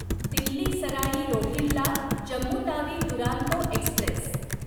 Delhi Sarai Rohilla Jammu Tawi Duronto Express